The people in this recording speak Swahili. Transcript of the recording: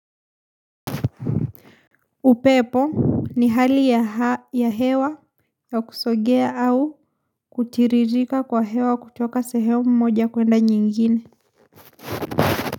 Upepo ni hali ya hewa ya kusogea au kutiririka kwa hewa kutoka sehemu moja kuenda nyingine.